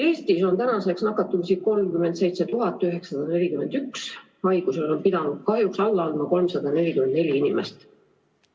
Eestis on tänaseks nakatumisi 37 941, haigusele on pidanud kahjuks alla andma 344 inimest.